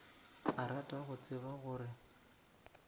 a rata go tseba gore